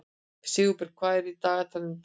Sigurberg, hvað er í dagatalinu í dag?